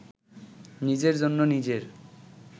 নিজের জন্য নিজের